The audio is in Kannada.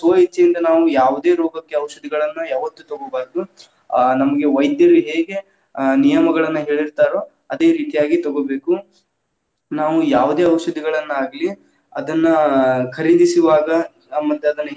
ಸ್ವ ಇಚ್ಛೆಯಿಂದ ನಾವ್‌ ಯಾವದೇ ರೋಗಕ್ಕೆ ಔಷಧಿಗಳನ್ನ ಯಾವತ್ತು ತಗೋಬಾರ್ದು, ಆ ನಮಗೆ ವೈದ್ಯರು ಹೇಗೆ ಆ ನಿಯಮಗಳನ್ನ ಹೇಳೀರ್ತಾರೋ ಅದೇ ರೀತಿಯಾಗಿ ತಗೋಬೇಕು, ನಾವು ಯಾವುದೇ ಔಷಧಗಳನ್ನಾಗ್ಲಿ ಅದನ್ನ ಖರೀದಿಸುವಾಗ ಆ ಮತ್ತ್ ಅದನ್ನ.